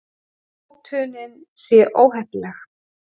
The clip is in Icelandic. Hótunin sé óheppileg